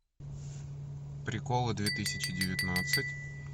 приколы две тысячи девятнадцать